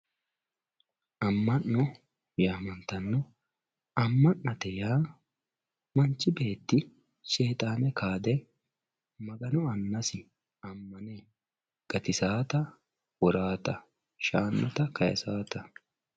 Ama`no yamantano ama`nate yaa manchi beeti shexane kaade magano anasi amane gatisawota worawota shaanota kayisawota.